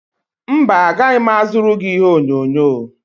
mba, agaghị m azụrụ gị ihe onyonyo